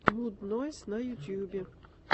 муд нойз на ютьюбе